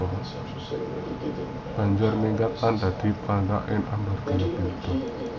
Banjur minggat lan dadi padhita ing Argabelah